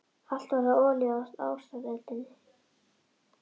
Allt var það olía á ástareldinn.